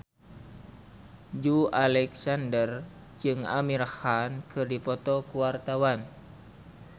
Joey Alexander jeung Amir Khan keur dipoto ku wartawan